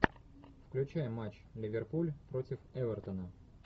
включай матч ливерпуль против эвертона